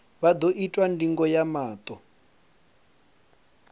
vha ḓo itwa ndingo ya maṱo